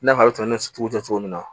I n'a fɔ a bɛ tɛmɛ sugu jɔ cogo min na